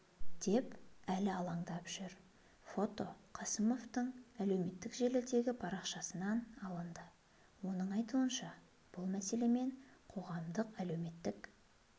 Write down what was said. деп әлі алаңдап жүр фото қасымовтың әлеуметтік желідегі парақшасынан алынды оның айтуынша бұл мәселемен қоғамдық әлеуметтік